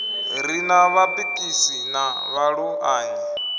ri na vhapikisi na vhaluṱanyi